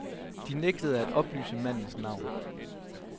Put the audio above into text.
De nægtede at oplyse mandens navn.